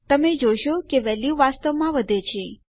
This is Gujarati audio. તમે જોઈ શકો છો કે વેલ્યુ વાસ્તવમાં વધે છે